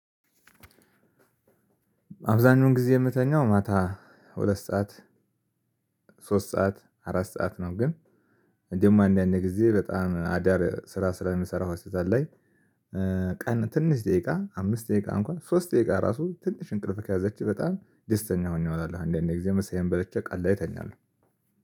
አብዛኛውን ጊዜ የምተኛው ማታ ሁለት ሰዓት፣ ሶስት ሰዓት፣ አራት ሰዓት ነው፤ ግን ደግሞ አንዳንድ ጊዜ በጣም አዳር ስራ ስለምሰራ ሆስፒታል ላይ ቀን ትንሽ ደቂቃ አምስት ደቂቃ እንኳን ሶስት ደቂቃ ራሱ ትንሽ እንቅልፍ ከያዘችኝ በጣም ደስተኛ ሆኜ እውላለሁ። አንዳንድ ጊዜ ምሳዬን በልቼ ቀን ላይ እተኛለሁ።